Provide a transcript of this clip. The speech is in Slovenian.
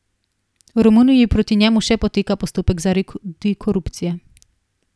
V Romuniji proti njemu še poteka postopek zaradi korupcije.